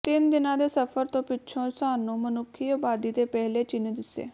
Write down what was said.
ਤਿੰਨ ਦਿਨਾਂ ਦੇ ਸਫ਼ਰ ਤੋਂ ਪਿੱਛੋਂ ਸਾਨੂੰ ਮਨੁੱਖੀ ਆਬਾਦੀ ਦੇ ਪਹਿਲੇ ਚਿੰਨ੍ਹ ਦਿੱਸੇ